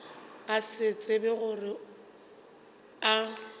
a se tsebe gore a